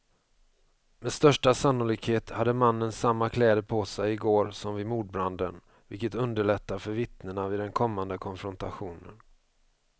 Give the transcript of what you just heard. Med största sannolikhet hade mannen samma kläder på sig i går som vid mordbranden, vilket underlättar för vittnena vid den kommande konfrontationen.